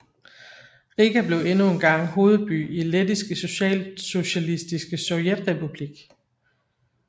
Riga blev endnu engang hovedby i Lettiske Socialistiske Sovjetrepublik